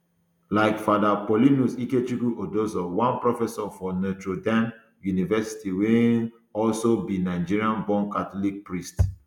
like father paulinus ikechukwu odozor one professor for notre dame university wey um also be nigerianborn catholic priest